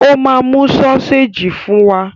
Ó máa mú sọ́séjì fún wa!